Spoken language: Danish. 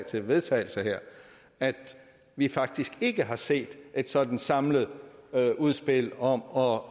til vedtagelse her at vi faktisk ikke har set et sådant samlet udspil om